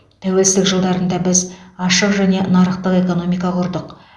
тәуелсіздік жылдарында біз ашық және нарықтық экономика құрдық